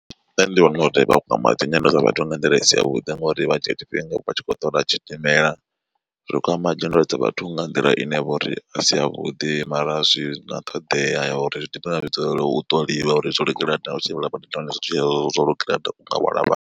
Nṋe ndi vhona uri vhakwama dzi nyendo dza vhathu nga nḓila i si ya vhuḓi ngori vha dzhia tshifhinga vha tshi kho ṱola tshidimela. Zwi kwama tshenzhelo dza vhathu nga nḓila ine ya vhori asi avhuḓi mara zwi na ṱhoḓea ya uri zwidimela zwi dzulele u ṱoliwa uri zwo lugela u tshimbila badani zwi tshe zwo lugela na u hwala vhathu.